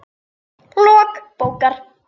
Lok bókar